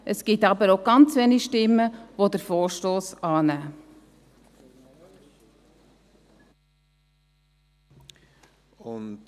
Es wird auch ganz wenige Stimmen geben, die den Vorstoss annehmen.